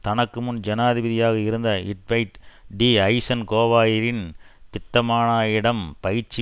தனக்கு முன் ஜனாதிபதியாக இருந்த ட்வைட் டி ஐசன்ஹோவரின் திட்டமான யிடம் பயிற்சி